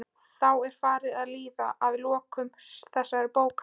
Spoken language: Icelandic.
Þá er farið að líða að lokum þessarar bókar.